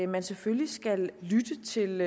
man selvfølgelig skal lytte til